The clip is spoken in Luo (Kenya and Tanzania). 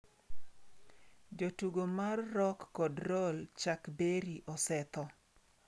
Jatugo mar rock kod roll Chuck Berry osetho